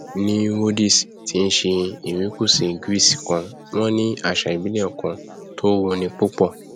ní rhodes tí í ṣe erékùṣù greece kan wọn ní àṣà ìbílẹ kan tó wuni púpọ